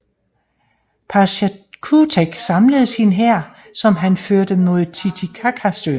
Pachacutec samlede sin hær som han førte mod Titicacasøen